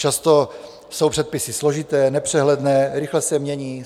Často jsou předpisy složité, nepřehledné, rychle se mění.